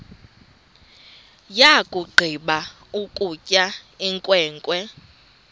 yakugqiba ukutya inkwenkwe